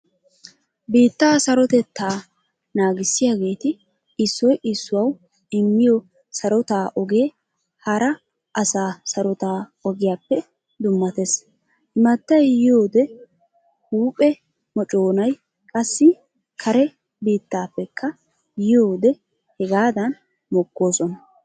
Biitta sarotettaa naagisiyaagetti issoy issuwawu immiyo sarotta ogee hara asaa sarota ogiyappe dummatees. Immattay yiiyode huuphphe mocconay qassi kare biittappekka yiiyode hegadan mokkoosona.